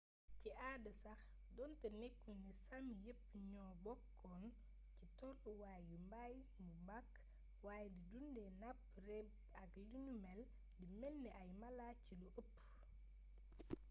ci aada sax donté nekkulné sámi yepp ñoo bokkon ci tollu waay yu mbay bu mak wayé di dundé napp reebb ak linumél di mélni ay mala ci lu ëpp